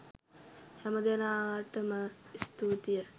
හැමදෙනාටම ස්තූතීය